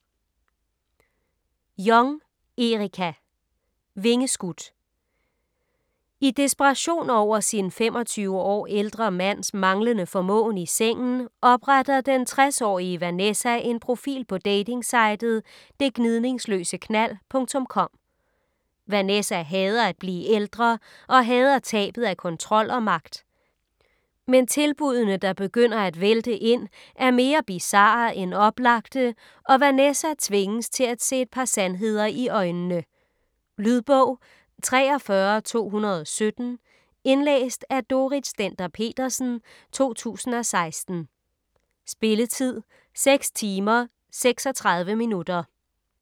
Jong, Erica: Vingeskudt I desperation over sin 25 år ældre mands manglende formåen i sengen, opretter den 60-årige Vanessa en profil på datingsitet "detgnidningsløseknald.com". Vanessa hader at blive ældre og hader tabet af kontrol og magt. Men tilbuddene, der begynder at vælte ind, er mere bizarre end oplagte, og Vanessa tvinges til at se et par sandheder i øjnene. Lydbog 43217 Indlæst af Dorrit Stender-Petersen, 2016. Spilletid: 6 timer, 36 minutter.